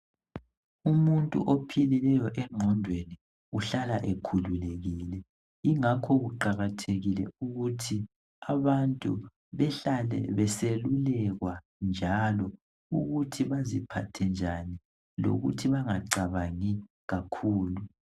Umuntu ophilileyo engqondweni uhlala ekhululekile ingakho kuqakathekile ukuthi abantu behlale beselulekwa njalo ukuthi baziphathe njani lokuthi bangacabangi kakhulu.